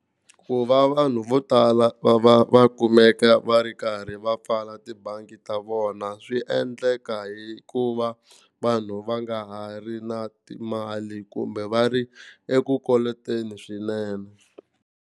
Ku va vanhu vo tala va va va kumeka va ri karhi va pfala tibangi ta vona swi endleka hikuva vanhu va nga ha ri na timali kumbe va ri eku koloteni swinene.